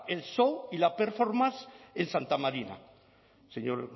el show y la performance en santa marina señor